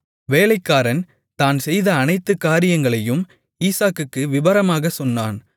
வேலைக்காரன் தான் செய்த அனைத்து காரியங்களையும் ஈசாக்குக்கு விபரமாகச் சொன்னான்